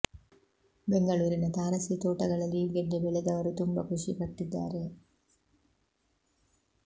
ಬೆಂಗಳೂರಿನ ತಾರಸಿ ತೋಟಗಳಲ್ಲಿ ಈ ಗೆಡ್ಡೆ ಬೆಳೆದವರೂ ತುಂಬ ಖುಷಿ ಪಟ್ಟಿದ್ದಾರೆ